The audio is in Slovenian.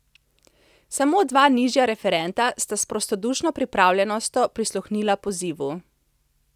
Samo dva nižja referenta sta s prostodušno pripravljenostjo prisluhnila pozivu.